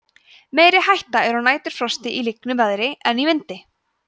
meiri hætta er á næturfrosti í lygnu veðri en í vindi